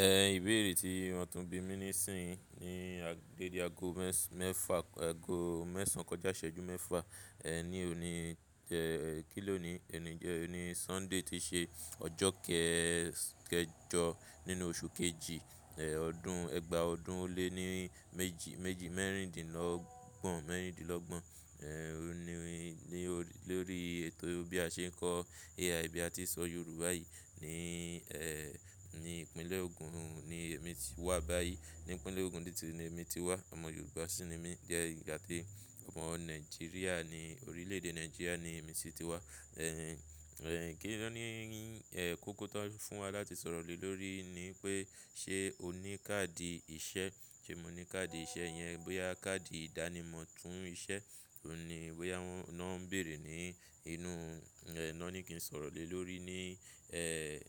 Ẹn ìbéèrè tí wọn tún bí mi ni nísinyii ni dede ago mẹ́ẹ̀fà, ago mẹ́sàn kọjá ìṣẹ́jú mẹ́fà. Ẹn ní òní tẹ, kìlóní, òní jẹ, òní Sunday tí ṣe ọjọ́ kẹ- kẹjọ nínú oṣù kejì, ẹ̀ ọdún, ẹ̀gbà ọdún ó lé ní méjì, méjì mẹ́rindínlọ́gbọ̀n, mẹ́rindínlọ́gbọ̀n. Ẹn òní ni, lórí ètò bí a ṣe ń kọ́ AI bí a ti ṣọ Yorùbá yìí ní, ẹ́, ní ìpínlẹ̀ Ogun ni èmi ti wà báyìí. Ní ìpínlẹ̀ Ogun ni tí èmi ti wà. Ọmọ Yorùbá sì ni mí. Jẹ ìgbà tí ọmọ Nigeria ni, orílẹ̀ èdè Nigeria ni èmi sì ti wá. Ẹ̀hìn, ẹ̀ kín ló ní, ẹ kóko tó fún wa láti sọ̀rọ̀ lé lórí ni pé ṣé o ní káàdì ìṣe? Ṣé mo ní káàdì ìṣe yẹn bóyá káàdì ìdánimọ̀ fún ìṣe òún ní bóyá wọn náà ń bèèrè ní inu, ẹ náà ní kí n sọ̀rọ̀ lé lórí ní, ẹ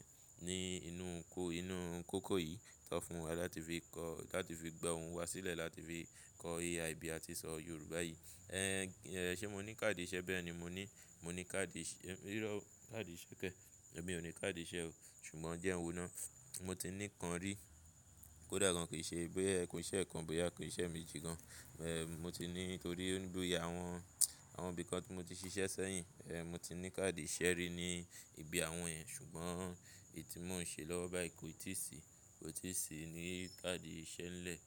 ní inú ko, inú kóko yìí tó fún wa láti fi kọ́, láti fi gba ohun wá sílẹ̀, láti fi kọ́ AI bí a ti ṣọ Yorùbá yìí. Ẹ̀hìn, ẹ̀ ṣé mo ní káàdì ìṣe? Bẹ́ẹ̀ ni mo ní, mo ní káàdì ìṣe, ìró káàdì ìṣe kẹ́, èmi ò ní káàdì ìṣe o. Ṣùgbọ́n jẹ́hun náà, mo ti ní kan rí. Kódà kan kì í ṣe bóyá ko ì ṣe kan bóyá ikùn ìṣe mi dì gan. Ẹ̀ mo ti ní nítorí pé bóyá àwọn, àwọn ibìkan tí mo ti ṣiṣẹ́ sẹ́yìn, ẹ mo ti ní káàdì ìṣe rí ní ibi àwọn yẹ̀n. Ṣùgbọ́n èyí tí mò ń ṣe lọ́wọ́ báyìí kò tíì sí, kò tí ì sí ní káàdì ìṣe ńlẹ̀.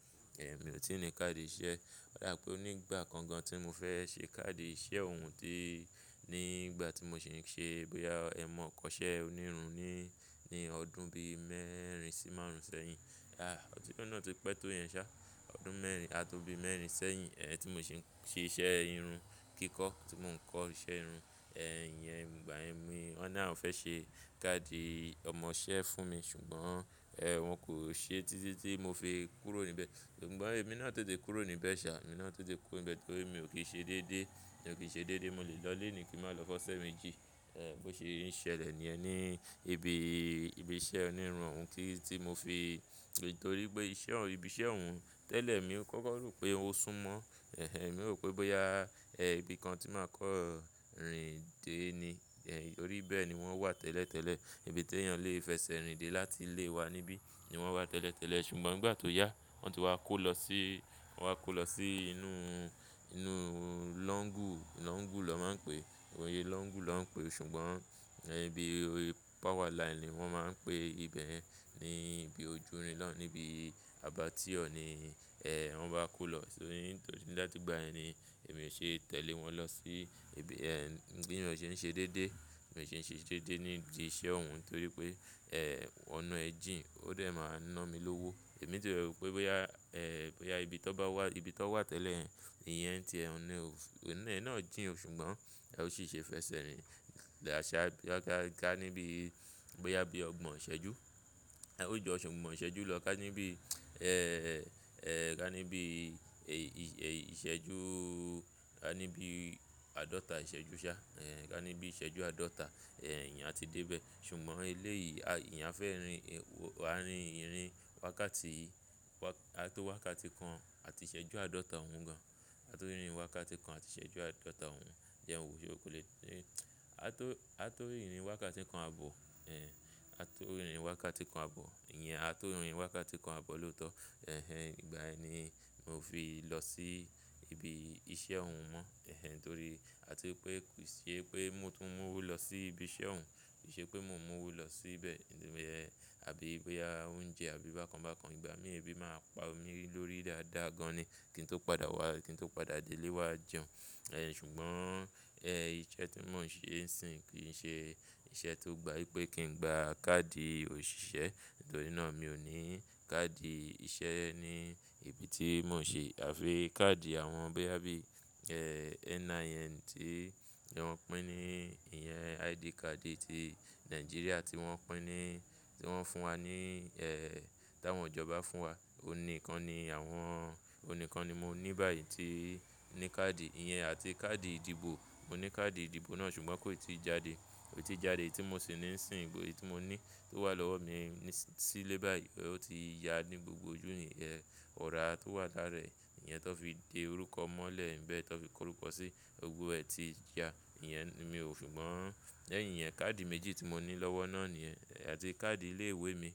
Ẹ̀ mi ò tí ì ní káàdì ìṣe. O ba bii pé onígbà kan gan tí mo fẹ́ ṣe káàdì ìṣe òun tí ní ìgbà tí mò ń ṣe bóyá ẹ̀ mọ kọ́ṣẹ́ onírun ní, ní ọdún bí mẹ́rin sí márùn ún sẹ́yìn. À ọdún náà tó pẹ́ tó yẹn ṣá. Ọdún mẹ́rin à tó bí mẹ́rin sẹ́yìn, ẹ tí mò ń ṣe, ṣe iṣẹ́ irun kíkọ́ tí mò ń kọ́ iṣẹ́ irun. Ìyẹn ìgbà yẹn ni won náà fẹ́ ṣe káàdì ọmọṣẹ́ fún mi ṣùgbọ́n, ẹ wọn kò ṣe títí tí mo fi kúrò níbẹ̀. Ṣùgbọ́n èmi náà tètè kúrò níbẹ̀ ṣá, èmi náà tètè kúrò níbẹ̀ torí pé mi ò kí ṣe déédé, mi ò kí ṣe déédé. Mo lè lọlé ni kí má lọ f'osẹ̀ mejí. Ẹ̀ bó ṣe ń ṣẹlẹ̀ ni ẹ ní ibi, ibi iṣẹ́ onírun tí mo fi nítorí pé iṣẹ́ ọ̀un, ibi iṣẹ́ òun tẹ́lẹ̀ mi ò kọ́kọ́ rò pé ó súnmọ́. Ẹ̀hìn mi rò pé bóyá, ẹ ibi kan tí màá kán rìn de ni. Ẹ̀ torí bẹ́ẹ̀ ni wọ́n wà tẹ́lẹ̀ tẹ́lẹ̀. Ibi tí ènìyàn lè fẹsẹ̀ rìnde láti lé wa níbí ni wọ́n wà tẹ́lẹ̀ tẹ́lẹ̀. Ṣùgbọ́n ìgbà tó yá, wọn tó wá kó lọ sí, wọn wá kó lọ sí inú, inú lọ́ńgù, lọ́ńgù lọ́ máa ń pe. Oyè lọ́ńgù lọ́ ń pe. Ṣùgbọ́n, ẹ ibi ori power line ni wọ́n máa ń pe ibẹ̀ ní ibi ojúrin lọ níbi Abattoir ni, ẹ wọ́n bá kó lọ. Torí, nítorí láti ìgbà ẹ ni èmi ò ṣe é tẹ̀lé wọn lọ sí ibi, ẹ ń bí ènìyàn ṣe ń ṣe déédé. Èmi ò ṣe ń ṣe déédé ní ibi iṣẹ́ òun torí pé, ẹ ọ̀nà ẹ jí òun ó dẹ̀ máa ń ná mi lówó. Èmi tí rò pé bóyá, ẹ bóyá ibi tó bá wà, ibi tó wà tẹ́lẹ̀ yẹn, ìyẹn tí ẹ ń ni o, ọ̀nà ẹ náà jìn ṣùgbọ́n ẹ ò sì ṣe fẹsẹ̀ rìn. Ṣà ká níbí bóyá bí ọgbọ̀n ìṣẹ́jú, ẹ ó jọ ṣùgbọ́n ìṣẹ́jú lọ ká níbí, ẹ ká níbí è ìṣẹ́jú, ká níbí àádọ́ta ìṣẹ́jú ṣá. Ẹ ká níbí ìṣẹ́jú àádọ́ta, ẹ ìyẹn a ti dé bẹ́ẹ̀. Ṣùgbọ́n eléyìí, enìyẹman fẹ́ rin, a rin ìrìn wákàtí, wá a tó wákàtí kan àti ìṣẹ́jú àádọ́ta òun gan. A tó rin ìrìn wákàtí kan àti ìṣẹ́jú àádọ́ta òun. Ìjẹ́hun ò ṣe ó kọ́lẹ́. A tó, a tó ìrìn wákàtí kan àbọ̀. Ẹ a tó ìrìn wákàtí kan àbọ̀. Ìyẹn a tó rin ìrìn wákàtí kan àbọ̀ lóòótọ́. Ẹ̀hìn ìgbà ẹ ni mò fi lọ sí ibi iṣẹ́ òun mọ́. Ẹ̀hìn torí pé à ti pé kì í ṣe pé mò tún mú owó lọ sí ibi iṣẹ́ òun. Kì í ṣe pé mò ń mú owó lọ síbẹ̀. Ẹ̀ àbí bóyá oúnjẹ àbí bákan bákan. Ìgbà mí èébì máa pa omi lórí dáadáa gan ni kí n tó padà wá, kí n tó padà dé ilé wa jẹun. Ẹ ṣùgbọ́n, ẹ iṣẹ́ tí mò ń ṣe ń sìn kì í ṣe iṣẹ́ tó gba wípé kí n gba káàdì òṣìṣẹ́. Nítorí náà mi ò ní káàdì ìṣe ní ibi tí mò ń ṣe àfi káàdì àwọn bóyá bí, ẹ NIN tí, tí wọ́n pín ní ìyẹn ID card tí Nigeria tí wọ́n pín ní, tí wọ́n fún wa ní, ẹ tí àwọn ìjọba fún wa. Ó ní ìkan ni àwọn, ó ní ìkan ni mo ní báyìí tí ní káàdì ìyẹn àti káàdì ìdìbò. Mo ní káàdì ìdìbò náà ṣùgbọ́n kò ì tí jáde. Kò tí jáde tí mò sì ní ń sìn bóyá èyí tí mò ní tó wà lọ́wọ́ mi ní sílé báyìí. Ó ti ya ní gbogbo ojú ìhìn, ẹ ọ̀rá tó wà lára ẹ̀, ìyẹn tó fi de orúkọ mọ́lẹ̀ ńbẹ́ tó fi kó orúkọ sí ogbó ẹ ti ya. Ìyẹn ni mi ò-- ṣùgbọ́n, ẹ̀ ìyẹn káàdì méjì tí mò ní lọ́wọ́ náà nìyẹn àti káàdì ilé ìwé mi.